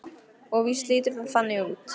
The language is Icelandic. Og víst lítur það þannig út.